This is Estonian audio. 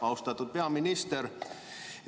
Austatud peaminister!